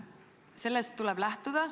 Sellest tuleb lähtuda.